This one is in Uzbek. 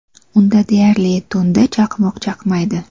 Unda deyarli har tunda chaqmoq chaqnaydi.